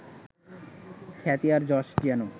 খ্যাতি আর যশ যেন